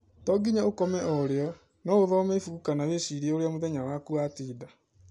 To ngĩnya ũkome orĩo, no ũthome ĩbũkũ kana wĩcĩrĩe ũrĩa mũthenya waku watĩnda